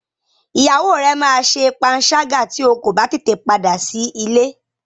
Ìyàwó rẹ máa ṣe panṣágà tí o kò bá tètè padà sí ilé.